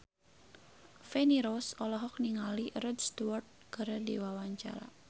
Feni Rose olohok ningali Rod Stewart keur diwawancara